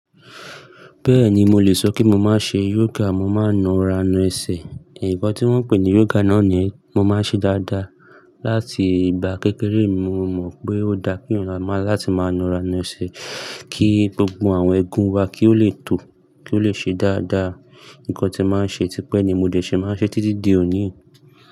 Bẹ́ẹ̀ni mo lè sọ kí mo má ṣe yoga, mo máa ń na ara, na ẹsẹ̀. Ǹkan tí wọ́n pè ní yoga náà ni mo máa ń ṣe dáadáa. Láti ìgbà kékeré mo mọ̀ pé ó dáa kí ọ̀la má láti máa na ara na ẹsẹ̀ kí gbogbo àwọn egun wa kí ó lè tó, kí ó lè ṣe dáadáa. Ǹkan tí máa ń ṣe tipẹ́ ni mo dẹ̀ ṣe, màá ṣe títí di òní.